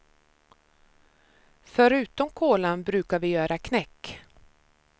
Förutom kolan brukar vi göra knäck.